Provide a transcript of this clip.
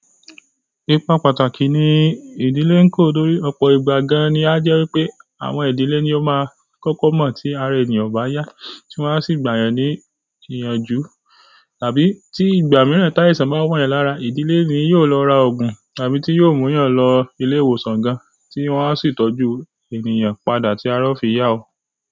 Ipa pàtàkì ní ìdílé ń kó torí ọ̀pọ̀ ìgbà gan-an ni a jẹ́ wípé àwọn ìdílé ni ó máa ń kọ́kọ́ mọ̀ tí ara ènìyàn o bá yá, tí wón a sì gbàyàn ní ìyànjú. Tàbí tí ìgbà mìíràn táìsàn bá wọ́n eyan lára, ìdílé ni yóò lọ ra òògùn tàbí tí yóò mú yàn lọ ilé ìwòsàn gan-an tí wọ́n a sì tọ́jú ènìyàn padà tí ara ó fi yá o.